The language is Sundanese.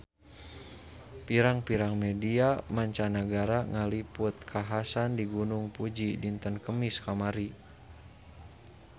Pirang-pirang media mancanagara ngaliput kakhasan di Gunung Fuji dinten Kemis kamari